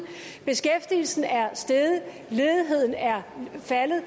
beskæftigelsen er steget og ledigheden er faldet